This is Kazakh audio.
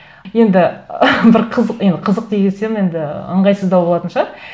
енді бір қызық енді қызық дей кетсем енді ыңғайсыздау болатын шығар